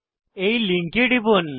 এই লিঙ্কে টিপুন